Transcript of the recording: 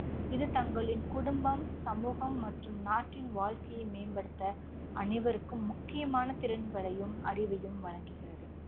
இது தங்களின் குடும்பம், சமூகம் மற்றும் நாட்டின் வாழ்க்கையை மேம்படுத்த அனைவருக்கும் முக்கியமான திறன்களையும் அறிவையும் வழங்குகிறது.